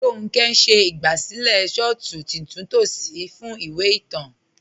Ronkẹ̀ n ṣẹ̀ igbásílẹ̀ shọ̀tù titúntò sí fún ìwé ìtàn.